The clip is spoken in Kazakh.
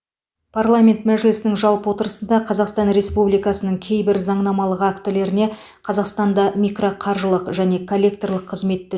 парламент мәжілісінің жалпы отырысында қазақстан республикасының кейбір заңнамалық актілеріне қазақстанда микроқаржылық және коллекторлық қызметті